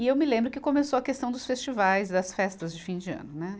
E eu me lembro que começou a questão dos festivais, das festas de fim de ano, né